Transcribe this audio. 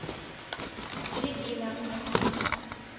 регина